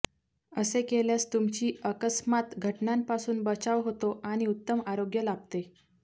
असे केल्यास तुमची अकस्मात घटनांपासून बचाव होतो आणि उत्तम आरोग्य लाभते